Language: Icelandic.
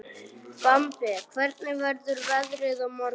Bambi, hvernig verður veðrið á morgun?